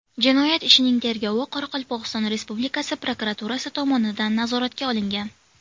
Jinoyat ishining tergovi Qoraqalpog‘iston Respublikasi prokuraturasi tomonidan nazoratga olingan.